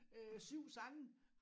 Øh 7 sange